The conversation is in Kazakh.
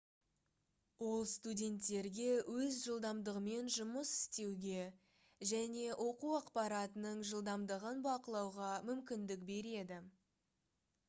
ол студенттерге өз жылдамдығымен жұмыс істеуге және оқу ақпаратының жылдамдығын бақылауға мүмкіндік береді